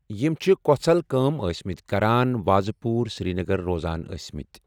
یِم چھِ کوژھل کأم آسمٕتؠ کران وازٕ پورِ سرینگرٕ روزان أسمٕتؠ۔